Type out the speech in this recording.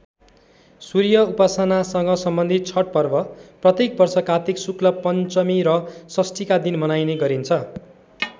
सूर्य उपासनासँग सम्बन्धित छठ पर्व प्रत्येक वर्ष कात्तिक शुक्ल पञ्चमी र षष्ठीका दिन मनाइने गरिन्छ।